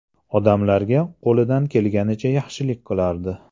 Odamlarga qo‘lidan kelgancha yaxshilik qilardi.